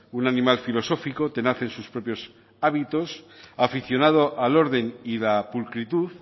un animal filosófico tenaz en sus propios hábitos aficionado al orden y la pulcritud